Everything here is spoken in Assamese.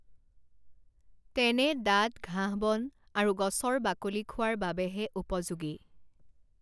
তেনে দাঁত ঘাঁহবন আৰু গছৰ বাকলি খোৱাৰ বাবেহে উপযোগী৷